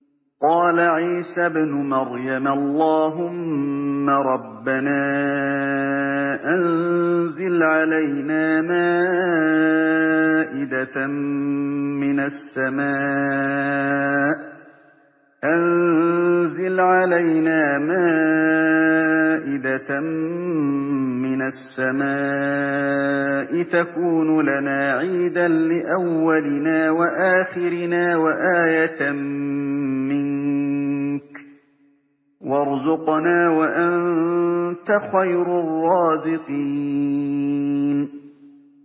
قَالَ عِيسَى ابْنُ مَرْيَمَ اللَّهُمَّ رَبَّنَا أَنزِلْ عَلَيْنَا مَائِدَةً مِّنَ السَّمَاءِ تَكُونُ لَنَا عِيدًا لِّأَوَّلِنَا وَآخِرِنَا وَآيَةً مِّنكَ ۖ وَارْزُقْنَا وَأَنتَ خَيْرُ الرَّازِقِينَ